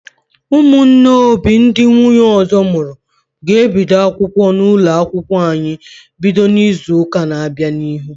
Ụmụnne Obi ndị nwunye ọzọ mụrụ ga ebido akwụkwọ n'ụlọ akwụkwọ anyị bido n'izuka na bịa n'ihu